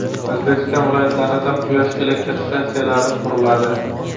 O‘zbekiston viloyatlarida quyosh elektr stansiyalari quriladi.